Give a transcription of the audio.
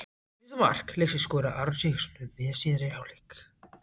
Fyrsta mark leiksins skoraði Aron Sigurðarson um miðjan síðari hálfleik.